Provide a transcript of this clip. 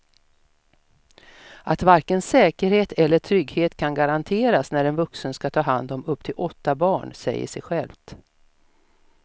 Att varken säkerhet eller trygghet kan garanteras när en vuxen ska ta hand om upp till åtta barn säger sig självt.